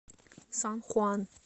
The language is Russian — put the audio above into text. сан хуан